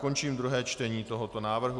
Končím druhé čtení tohoto návrhu.